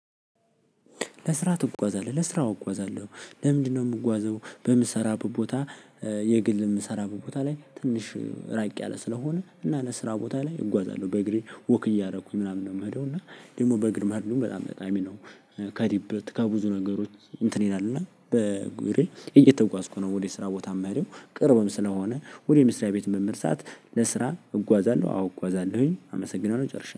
ለስራ ትጓዛለህ ለስራ አዎ እጓዛለሁ። ለምንድነው የምጓዘው? በምሰራበት ቦታ እ የግል የምሰራበት ቦታ ላይ ትንሽ ራቅ ያለ ስለሆነ እና ለ ስራ ቦታ ላይ እጓዛለሁ በእግሬ ወክ እያደረኩኝ ምናምን ነው የምሄደው እና ደግሞ በእግር መሄድ በጣም ጠቃሚ ነው። እ ከዲበት ከብዙ ነገሮች እንትን ይላል እና በእግሬ እየተጓዝኩ ነው ወደ ስራ ቦታ የምሄደው። ቅርብም ስለሆነ ወደ መስሪያ ቤት በምሄድ ሰዓት ለስራ እጓዛለሁ። አዎ እጓዛለሁኝ አመሰግናለሁ ጨርሻለሁ